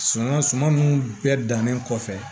Suman suman nunnu bɛɛ dannen kɔfɛ